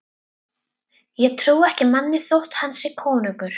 Ég trúi ekki manni þótt hann sé konungur.